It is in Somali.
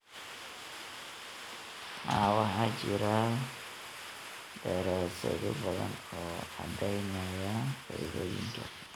Haa, waxaa jira daraasado badan oo caddaynaya faa'iidooyinka.